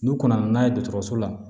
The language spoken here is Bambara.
N'u ka na n'a ye dɔgɔtɔrɔso la